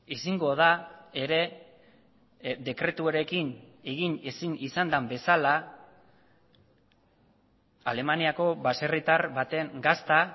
ezingo da ere dekretuarekin egin ezin izan den bezala alemaniako baserritar baten gazta